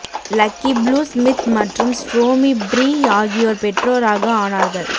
lucky blue Smith மற்றும் Stormi Bree ஆகியோர் பெற்றோராக ஆனார்கள்